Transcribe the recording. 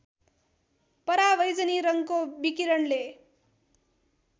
परावैजनी रङ्गको विकिरणले